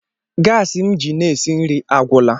Gasi m ji na-esi nri agwụla.